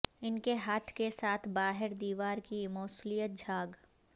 ان کے ہاتھ کے ساتھ باہر دیوار کی موصلیت جھاگ